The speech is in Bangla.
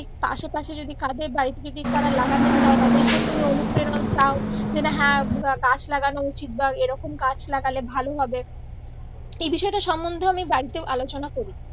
আশে পাশে যদি কাদের বাড়ীতে যদি তার লাগাতে চায় তাদের কেউ তুমি অনুপ্রেরনা দাও । গাছ লাগানো উচিত বা এইরকম গাছ লাগালে ভালো হবে তো এই বিষয়টা সম্বন্ধে ও আমি বাড়িতে আলোচনা করি